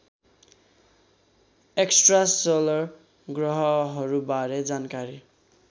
extrasolar ग्रहहरूबारे जानकारी